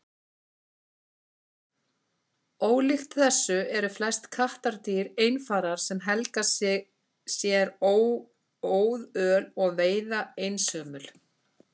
ólíkt þessu eru flest kattardýr einfarar sem helga sér óðöl og veiða einsömul